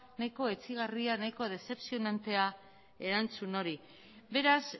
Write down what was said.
nahiko etsigarria nahiko desepzionantea erantzun hori beraz